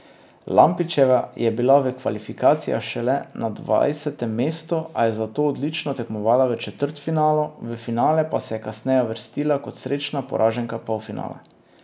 Lampičeva je bila v kvalifikacijah šele na dvajsetem mestu, a je zato odlično tekmovala v četrtfinalu, v finale pa se je kasneje uvrstila kot srečna poraženka polfinala.